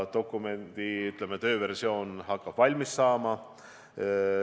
Dokumendi tööversioon, hakkab valmis saama.